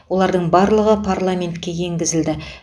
олардың барлығы парламентке енгізілді